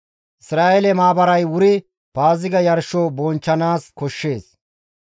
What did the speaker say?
Isra7eele maabaray wuri Paaziga yarsho bonchchanaas koshshees.